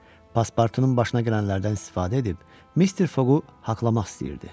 Paspartunun başına gələnlərdən istifadə edib Mister Foqu haqlamaq istəyirdi.